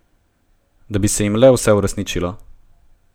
Da bi se jim le vse uresničilo!